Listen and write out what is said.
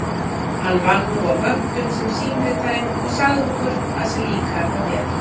Hann vann nú á vöktum sem símritari og sagði okkur að sér líkaði það vel.